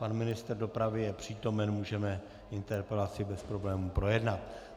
Pan ministr dopravy je přítomen, můžeme interpelaci bez problémů projednat.